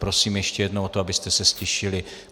Prosím ještě jednou o to, abyste se ztišili.